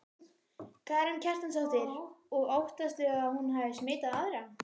Karen Kjartansdóttir: Og óttastu að hún hafi smitað aðra?